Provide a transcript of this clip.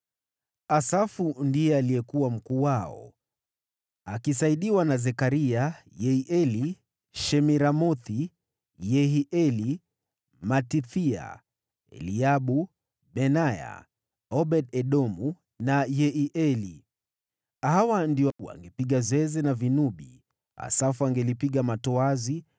Asafu ndiye alikuwa mkuu wao, akisaidiwa na Zekaria, Yeieli, Shemiramothi, Yehieli, Matithia, Eliabu, Benaya, Obed-Edomu na Yeieli. Hawa ndio wangepiga zeze na vinubi, Asafu angepiga matoazi,